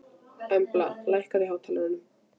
Embla, lækkaðu í hátalaranum.